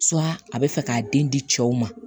a bɛ fɛ k'a den di cɛw ma